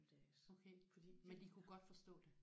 Okay men de kunne godt forstå det?